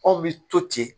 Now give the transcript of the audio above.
Anw bi to ten